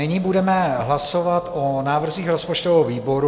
Nyní budeme hlasovat o návrzích rozpočtového výboru.